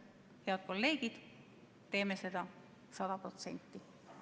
Head kolleegid, teeme seda sada protsenti!